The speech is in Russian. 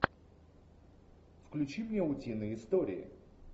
включи мне утиные истории